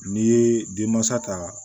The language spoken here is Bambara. N'i ye denmansa ta